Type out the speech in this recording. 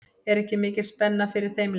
Er ekki mikil spenna fyrir þeim leik?